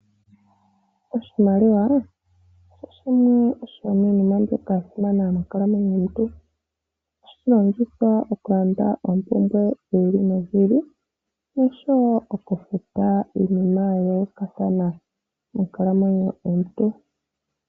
Oshimaliwa oshimwe shomiinima mbyoka ya simana monkalamwenyo yomuntu. Ohashi longithwa oku landa oompumbwe dhi ili nodhi ili, oshowo oku futa iinima ya yooolokathana mokukalamwenyo kwomuntu.